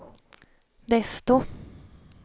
desto